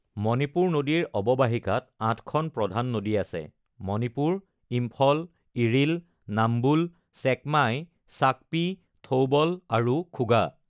মণিপুৰ নদীৰ অৱবাহিকাত আঠখন প্ৰধান নদী আছে- মণিপুৰ, ইম্ফল, ইৰিল, নাম্বুল, ছেকমাই, চাক্পী, থৌবল আৰু খুগা।